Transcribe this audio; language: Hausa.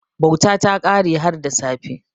Bauta ta kare har da safe.